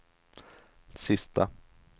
sista